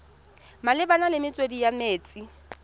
malebana le metswedi ya metsi